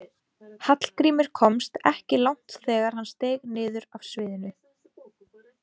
Hallgrímur komst ekki langt þegar hann steig niður af sviðinu.